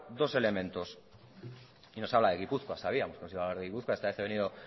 dos elementos y nos habla de gipuzkoa sabíamos que nos iba a hablar de gipuzkoa esta vez he venido